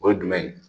O ye jumɛn ye